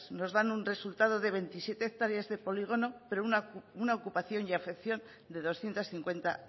nos dan un resultado de veintisiete hectáreas de polígono pero una ocupación y afección de doscientos cincuenta